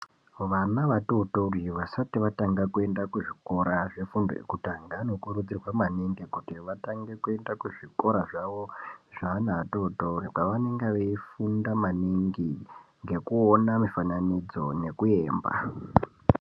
Vana vatotori vasati vatanga kuenda kuzvikora zvefundo yekutanga, vanokurudzirwa maningi kuti vatange kuenda kuzvikora zvavo, zveana atotori, kwavanenge veifunda maningi ngekuona mifananidzo nekuemba.